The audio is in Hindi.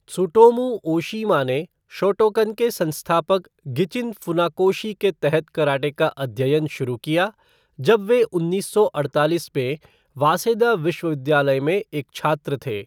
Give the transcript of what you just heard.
त्सुटोमू ओशीमा ने शोटोकन के संस्थापक गिचिन फ़ुनाकोशी के तहत कराटे का अध्ययन शुरू किया, जब वह उन्नीस सौ अड़तालीस में वासेदा विश्वविद्यालय में एक छात्र थे।